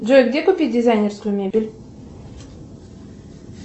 джой где купить дизайнерскую мебель